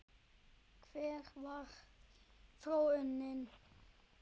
Hver varð þróunin í raun?